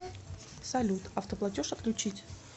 салют автоплатеж отключить